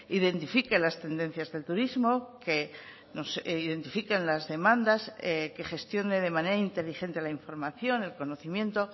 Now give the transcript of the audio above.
identifique las tendencias del turismo que nos identifiquen las demandas que gestione de manera inteligente la información el conocimiento